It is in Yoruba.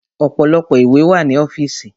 Ọ̀pọ̀lọpọ̀ ìwé wà ní ọ́fìsì.